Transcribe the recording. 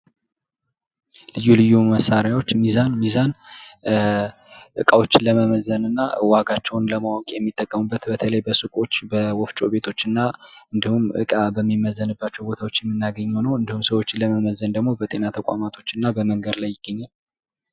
ልዩ ልዩ መሳሪያዎች፦ ሚዛን፦ ሚዛን እቃዎችን ለመመዘን እና ዋጋቸውን ለማወቅ የሚጠቀሙበት በተለይ በሱቆች በወፍጮ ቤቶች እና እንዲሁም እቃ በሚመዘንባቸው ቦታዎች የምናገኘው ነው። እንዲሁም ሰዎችን ለመመዘን ደግሞ በጤና ተቁማቶች እና በመንገድ ላይ ይገኛል።